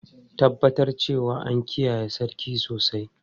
Tabbatar cewa an kiyaye sarki sosai!